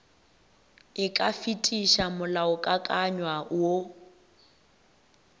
e ka fetiša molaokakanywa woo